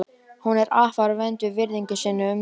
Hún er afar vönd að virðingu sinni og umgengst fáa.